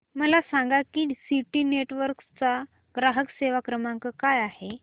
मला सांगा की सिटी नेटवर्क्स चा ग्राहक सेवा क्रमांक काय आहे